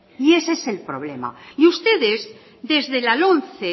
y ese es el problema y ustedes desde la lomce